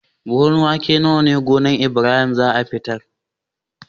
Buhun wake nawa gonar Ibrahim zata fitar